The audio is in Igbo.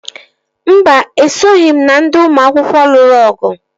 Mba, esoghị m na ndị ụmụ akwụkwọ lụrụ ọgụ